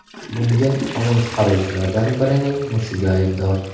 Bunga qonun chiqaruvchilardan birining mushugi aybdor.